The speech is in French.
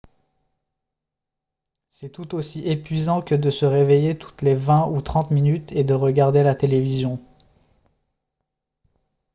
c'est tout aussi épuisant que de se réveiller toutes les vingt ou trente minutes et de regarder la télévision